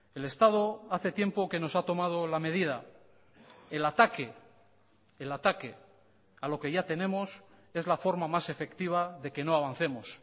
el estado hace tiempo que nos ha tomado la medida el ataque el ataque a lo que ya tenemos es la forma más efectiva de que no avancemos